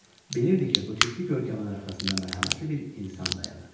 Bilirdi ki, bu ciddi görkəmin arxasında mərhəmətli bir insan dayanır.